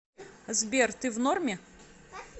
сбер ты в норме